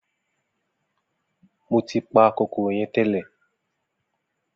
Mo tí pa kòkòrò yẹn tẹ́lẹ̀